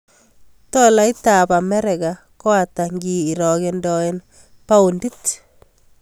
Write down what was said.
Tolaitap Amerika ko ata ngirogendoen paondit